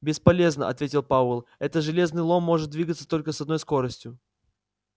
бесполезно ответил пауэлл этот железный лом может двигаться только с одной скоростью